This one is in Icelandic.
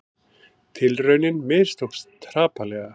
Tilraunin mistókst hrapalega